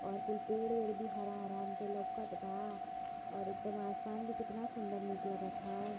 और कुल पेड़ वेड भी हरा हरान् के लउकत बा और एकदम आसमान भी कितना सुन्दर नीक लगत है।